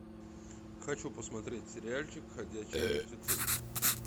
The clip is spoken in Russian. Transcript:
хочу посмотреть сериальчик ходячие мертвецы